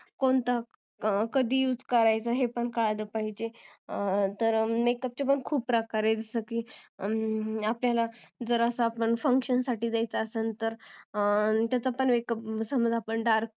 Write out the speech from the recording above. कोणता कधी उस करायचा हे कळलं पाहिजेल तर makeup चे पण खुप प्रकार आहे जर आपल्याला function साठी जायचं असेल तर त्याचा पण एक supose आपण dark